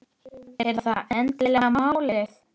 Er það endilega málið?